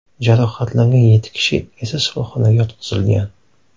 Jarohatlangan yetti kishi esa shifoxonaga yotqizilgan.